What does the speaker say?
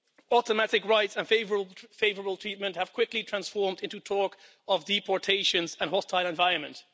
Automatic rights and favourable treatment have quickly transformed into talk of deportations and a hostile environment.